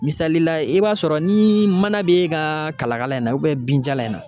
Misali la i b'a sɔrɔ ni mana b'e ka kalakala in na binjalan in na